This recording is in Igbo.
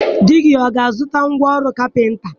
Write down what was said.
Di gị ọ ga-azụta ngwa ọrụ kapịnta?